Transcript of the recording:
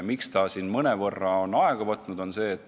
Miks see mõnevõrra on aega võtnud?